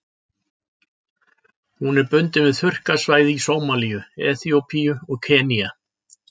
Hún er bundin við þurrkasvæði í Sómalíu, Eþíópíu og Kenýa.